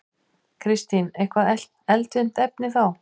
Kristín: Eitthvað eldfimt efni þá?